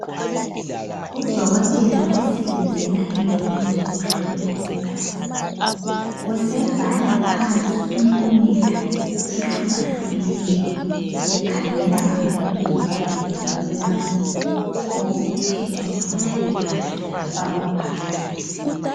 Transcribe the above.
Udokotela osebenzela endaweni zokuhlola igazi. Usebhala phansi impumela ehlukahlukeneyo, ekhangela ngamabizo ayabe ebhalwe lapho okuthethwe khona igazi lafakwa phakathi.